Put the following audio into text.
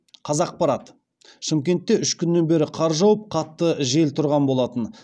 қазақпарат шымкентте үш күннен бері қар жауып қатты жел тұрған болатын